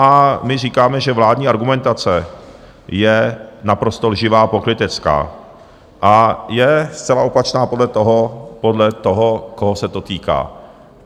A my říkáme, že vládní argumentace je naprosto lživá a pokrytecká a je zcela opačná podle toho, koho se to týká.